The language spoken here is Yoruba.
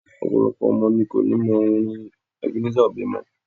Ọ̀pọ̀lọpọ̀ ọmọ ní ko ni mọ orin Ebenezer Obey mọ́.